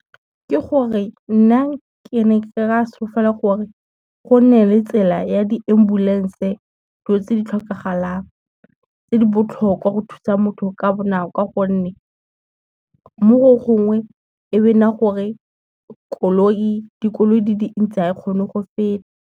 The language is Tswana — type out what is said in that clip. Ke gore nna ke ne ke ka solofela gore go nne le tsela ya di-ambulance dilo tse di tlhokagalang, tse di botlhokwa go thusa motho ka bonako gonne, mo go gongwe e be nna gore dikoloi di dintsi ga e kgone go feta.